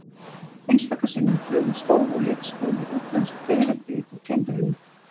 Einstaka sinnum flugu stór og litskrúðug útlensk fiðrildi upp úr timbrinu.